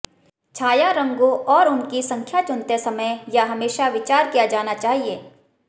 छाया रंगों और उनकी संख्या चुनते समय यह हमेशा विचार किया जाना चाहिए